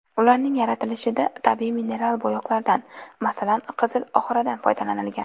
Ularning yaratilishida tabiiy mineral bo‘yoqlardan, masalan, qizil oxradan foydalanilgan.